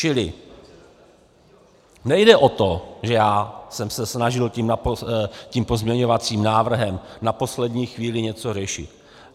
Čili nejde o to, že já jsem se snažil tím pozměňovacím návrhem na poslední chvíli něco řešit.